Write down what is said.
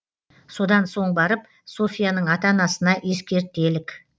содан соң барып софьяның ата анасына ескертелік